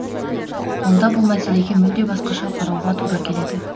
онда бұл мәселеге мүлде басқаша қарауға тура келеді